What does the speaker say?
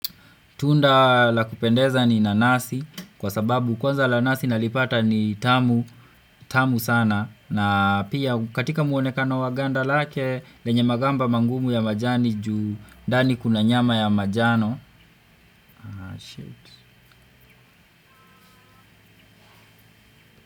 Tunda la kupendeza ni nanasi kwa sababu kwanza lanasi nalipata ni tamu sana na pia katika muonekano wa ganda lake lenye magamba mangumu ya majani juu ndani kuna nyama ya majano.